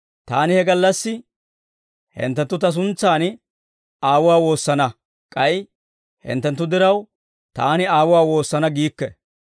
Taani he gallassi, hinttenttu Ta suntsan Aawuwaa woosana; k'ay hinttenttu diraw, Taani Aawuwaa woosana giikke.